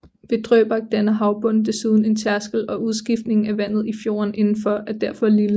Ved Drøbak danner havbunden desuden en tærskel og udskiftningen af vandet i fjorden indenfor er derfor lille